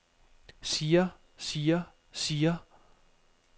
siger siger siger